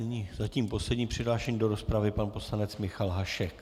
Nyní zatím poslední přihlášený do rozpravy pan poslanec Michal Hašek.